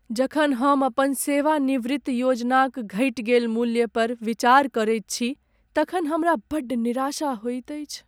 जखन हम अपन सेवानिवृत्ति योजनाक घटि गेल मूल्य पर विचार करैत छी तखन हमरा बड्ड निराशा होइत अछि।